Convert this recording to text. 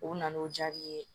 U na n'o diyar'i ye